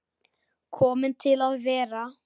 Komin til að vera?